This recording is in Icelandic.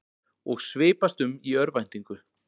Og svipast um í örvæntingu.